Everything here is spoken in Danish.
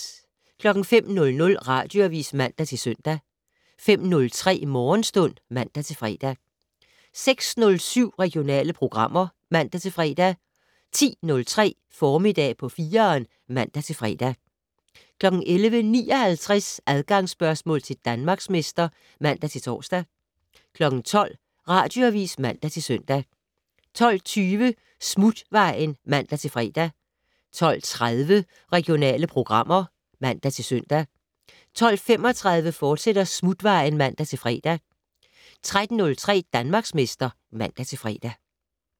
05:00: Radioavis (man-søn) 05:03: Morgenstund (man-fre) 06:07: Regionale programmer (man-fre) 10:03: Formiddag på 4'eren (man-fre) 11:59: Adgangsspørgsmål til Danmarksmester (man-tor) 12:00: Radioavis (man-søn) 12:20: Smutvejen (man-fre) 12:30: Regionale programmer (man-søn) 12:35: Smutvejen, fortsat (man-fre) 13:03: Danmarksmester (man-fre)